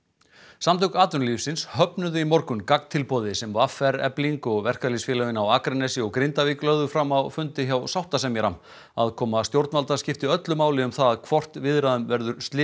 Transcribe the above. samtök atvinnulífsins höfnuðu í morgun gagntilboði sem v r Efling og verkalýðsfélögin á Akranesi og í Grindavík lögðu fram á fundi hjá sáttasemjara aðkoma stjórnvalda skiptir öllu máli um það hvort viðræðum verður slitið